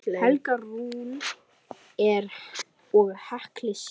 Helga Rún og Hekla Sif.